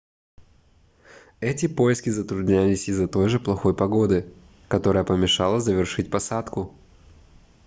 эти поиски затруднялись из-за той же плохой погоды которая помешала завершить посадку